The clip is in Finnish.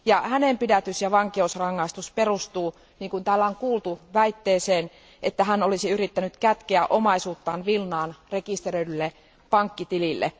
Hänen pidätys ja vankeusrangaistuksensa perustuu, niin kuin täällä on kuultu, väitteeseen, että hän olisi yrittänyt kätkeä omaisuuttaan Vilnaan rekisteröidylle pankkitilille.